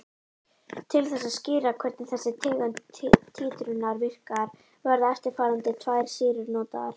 Til þess að skýra hvernig þessi tegund títrunar virkar verða eftirfarandi tvær sýrur notaðar.